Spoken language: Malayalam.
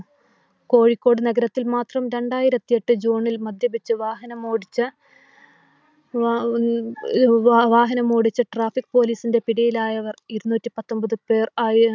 കോഴിക്കോട് നഗരത്തിൽ മാത്രം രണ്ടായിരത്തി ഏട്ട് ജൂണിൽ മദ്യപിച്ച് വാഹനമോടിച്ച Traffic police ന്റെ പിടിയിൽ ആയവർ ഇരുന്നൂറ്റി പത്തൊൻപത് പേർ